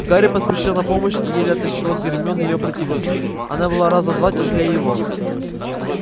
гарри поспешил на помощь и еле оттащил от гермионы её противницу она была раза в два тяжелее его